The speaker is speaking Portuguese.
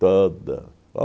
Toda.